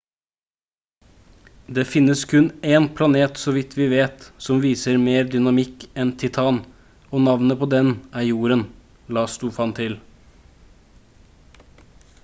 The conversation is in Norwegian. «det finnes kun én planet så vidt vi vet som viser mer dynamikk enn titan og navnet på den er jorden» la stofan til